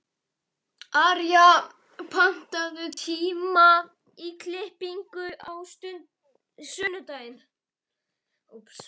Arja, pantaðu tíma í klippingu á sunnudaginn.